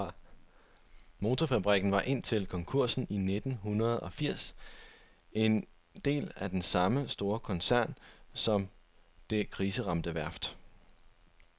Motorfabrikken var indtil konkursen i nitten hundrede og firs en del af den samme store koncern som det kriseramte værft.